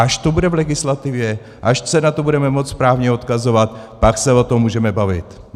Až to bude v legislativě, až se na to budeme moci správně odkazovat, pak se o tom můžeme bavit.